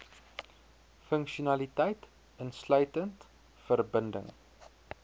funksionaliteit insluitend verbinding